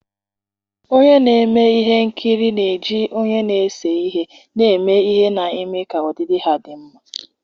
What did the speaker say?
ndị na-eme ihe nkiri na-eji onye na-ese ihe na-eme ihe na-eme ka ọdịdị ha dị mma.